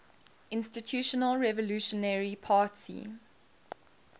institutional revolutionary party